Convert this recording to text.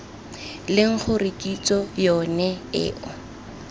leng gore kitso yone eo